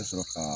Ka sɔrɔ ka